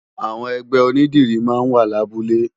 Awòn ègbè ónìdìrí má n wá làbúlé